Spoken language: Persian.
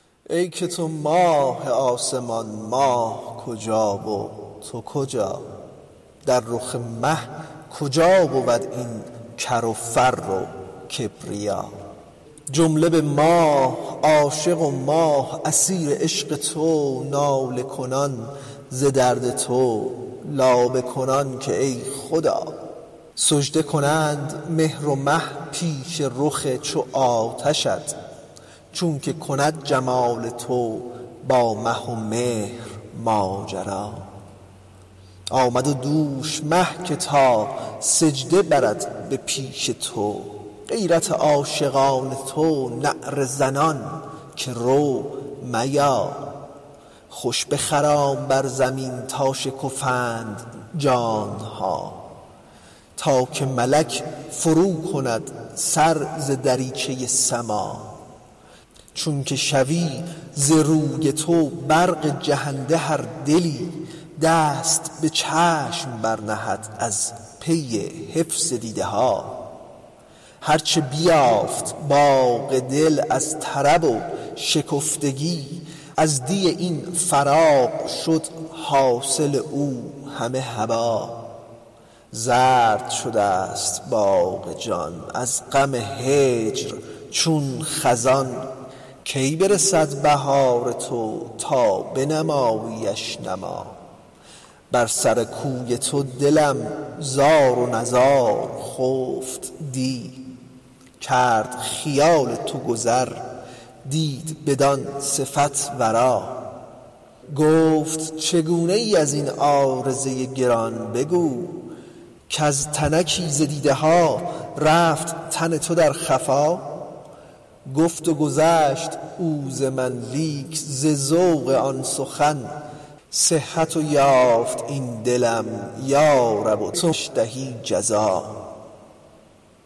ای که تو ماه آسمان ماه کجا و تو کجا در رخ مه کجا بود این کر و فر و کبریا جمله به ماه عاشق و ماه اسیر عشق تو ناله کنان ز درد تو لابه کنان که ای خدا سجده کنند مهر و مه پیش رخ چو آتشت چونک کند جمال تو با مه و مهر ماجرا آمد دوش مه که تا سجده برد به پیش تو غیرت عاشقان تو نعره زنان که رو میا خوش بخرام بر زمین تا شکفند جان ها تا که ملک فروکند سر ز دریچه سما چون که شود ز روی تو برق جهنده هر دلی دست به چشم برنهد از پی حفظ دیده ها هر چه بیافت باغ دل از طرب و شکفتگی از دی این فراق شد حاصل او همه هبا زرد شده ست باغ جان از غم هجر چون خزان کی برسد بهار تو تا بنماییش نما بر سر کوی تو دلم زار و نزار خفت دی کرد خیال تو گذر دید بدان صفت ورا گفت چگونه ای از این عارضه گران بگو کز تنکی ز دیده ها رفت تن تو در خفا گفت و گذشت او ز من لیک ز ذوق آن سخن صحت یافت این دلم یا رب توش دهی جزا